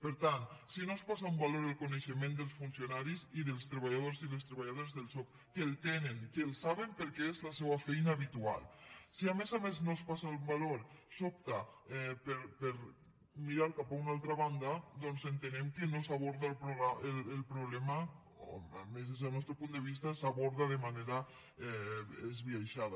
per tant si no es posa en valor el coneixement dels funcionaris i dels treballadors i les treballadores del soc que el tenen que el saben perquè és la seua feina habitual si a més a més no es posa en valor s’opta per mirar cap a una altra banda doncs entenem que no s’aborda el problema o almenys des del nostre punt de vista s’aborda de manera esbiaixada